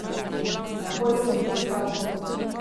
Takoj sem pristal.